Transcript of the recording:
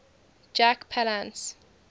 jack palance